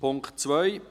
Punkt 2: